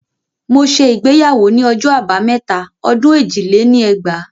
Mo ṣe ìgbéyàwó ni ọjọ́ abámẹ́ta ọdún èjì lé ní ẹgbàá